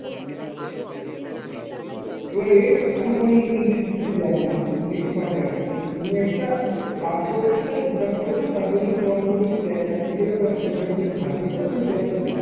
এবারে আমি ওই intimacy তে যাবো না, আমি next part এ আসছি। তুমি একটা কাজ করেছো যা income করেছো তার জন্য তোমার উপর যদি tax applicable হয় সরকার যদি ধার্য করে তুমি tax টা দেবে।